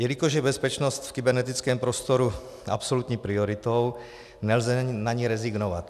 Jelikož je bezpečnost v kybernetickém prostoru absolutní prioritou, nelze na ni rezignovat.